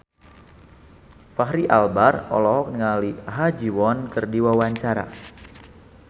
Fachri Albar olohok ningali Ha Ji Won keur diwawancara